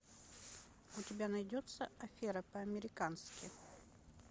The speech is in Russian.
у тебя найдется афера по американски